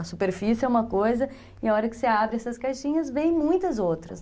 A superfície é uma coisa e a hora que você abre essas caixinhas vem muitas outras.